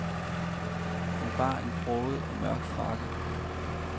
Han bar en broget og mørk frakke.